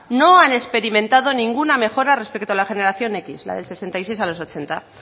no han experimentado ninguna mejora respecto a la generación décimo la del sesenta y seis a los ochenta